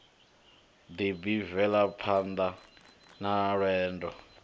ḓi b velaphanḓa na lwenḓo